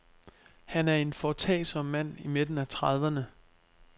Han er en foretagsom mand i midten af trediverne.